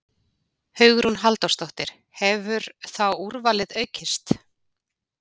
Hugrún Halldórsdóttir: Hefur þá úrvalið aukist?